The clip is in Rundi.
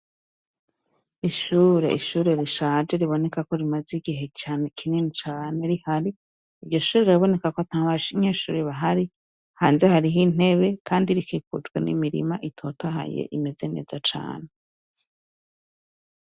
Ishure. Ishure rishaje riboneka ko ribaze igihe cane kinini rihari. Iryo shure riraboneka ko ata banyeshure bahari. Hanze hariho intebe kandi rikikujwe n'imirima itotatahaye imeze neza cane.